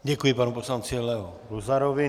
Děkuji panu poslanci Leo Luzarovi.